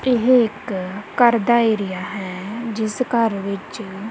ਇਹ ਇੱਕ ਘਰ ਦਾ ਏਰੀਆ ਹੈ ਜਿਸ ਘਰ ਵਿੱਚ--